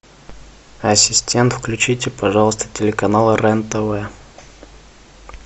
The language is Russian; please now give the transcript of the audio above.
ассистент включите пожалуйста телеканал рен тв